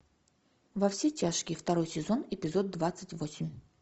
во все тяжкие второй сезон эпизод двадцать восемь